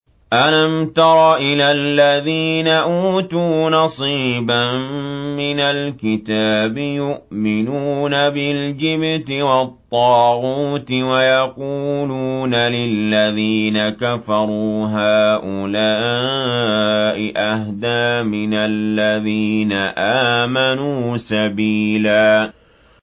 أَلَمْ تَرَ إِلَى الَّذِينَ أُوتُوا نَصِيبًا مِّنَ الْكِتَابِ يُؤْمِنُونَ بِالْجِبْتِ وَالطَّاغُوتِ وَيَقُولُونَ لِلَّذِينَ كَفَرُوا هَٰؤُلَاءِ أَهْدَىٰ مِنَ الَّذِينَ آمَنُوا سَبِيلًا